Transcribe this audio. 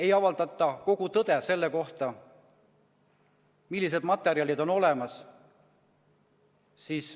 Ei avaldata kogu tõde selle kohta, millised materjalid on olemas.